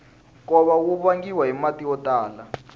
nkova wu vangiwa hi mati yo tala